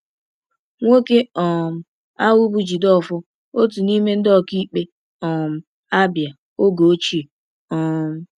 Nwoke um ahụ bụ Jideofor, otu n’ime ndị ọkaikpe um Abia oge ochie. um